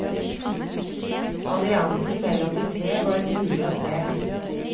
Alliansen mellom de tre var mulig å se.